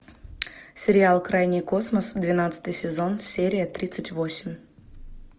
сериал крайний космос двенадцатый сезон серия тридцать восемь